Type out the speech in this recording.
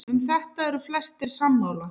Um þetta eru flestir sammála.